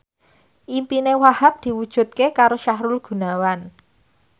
impine Wahhab diwujudke karo Sahrul Gunawan